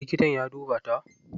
Likitan ya duba ta?